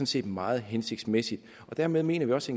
set meget hensigtsmæssigt dermed mener vi også